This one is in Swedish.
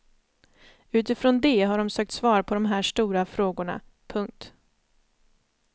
Utifrån det har de sökt svar på de här stora frågorna. punkt